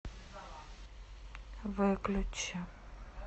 выключи